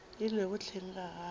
e lego hleng ga gagwe